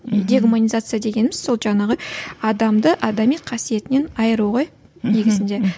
дегуманизация дегеніміз сол жаңағы адамды адами қасиетінен айыру ғой негізінде